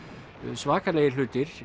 svakalegir hlutir